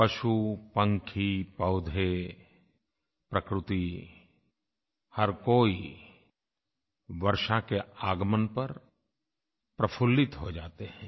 पशु पक्षी पौधे प्रकृति हर कोई वर्षा के आगमन पर प्रफुल्लित हो जाते हैं